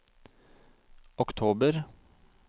oktober